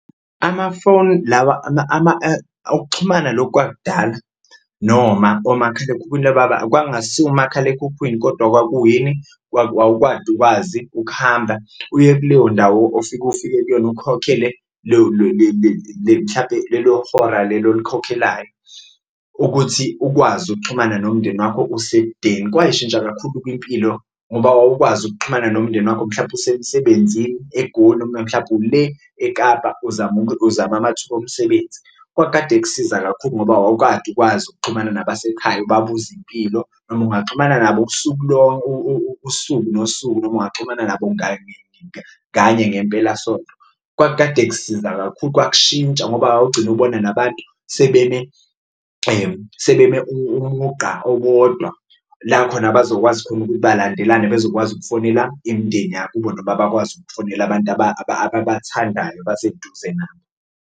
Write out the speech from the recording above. Amafoni lawa ukuxhumana lokhu kwakudala noma komakhalekhukhwini kwakungasiwo umakhalekhukhwini kodwa kwakuyini? Wawukade ukwazi ukuhamba, uye kuleyo ndawo ofika ufike kuyona ukhokhele leyo le mhlampe lelo hora lelo olikhokhelayo ukuthi ukwazi ukuxhumana nomndeni wakho usekudeni. Kwashintsha kakhulu-ke impilo ngoba wawukwazi ukuxhumana nomndeni wakho mhlawumpe usemsebenzini eGoli noma mhlawumbe ule eKapa uzama uzama amathuba omsebenzi, kwakukade kusiza kakhulu ngoba wawukade ukwazi ukuxhumana nabasekhaya ubabuze impilo. Noma ungaxhumana nabo usuku usuku nosuku noma ungaxhumana nabo kanye ngempelasonto kwakukade kusiza kakhulu, kwashintsha ngoba wawugcine ubona nabantu sebeme umugqa owodwa la khona bazokwazi khona ukuthi balandelane bezokwazi ukufonela imindeni yakubo, noma bakwazi ukufonela abantu ababathandayo abaseduze nabo.